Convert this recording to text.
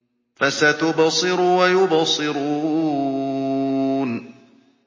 فَسَتُبْصِرُ وَيُبْصِرُونَ